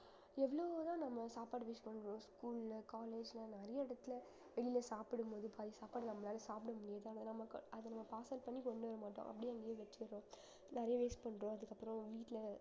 எவ்வளவு தான் நம்ம சாப்பாடு waste பண்றோம் school ல college ல நிறைய இடத்துல வெளில சாப்பிடும்போது பாதி சாப்பாடு நம்மளால சாப்பிட முடியாது ஆனா நமக்கு அத நம்ம parcel பண்ணி கொண்டு வர மாட்டோம் அப்படியே அங்கேயே வச்சிடுறோம் நிறைய waste பண்றோம் அதுக்கப்புறம் வீட்டுல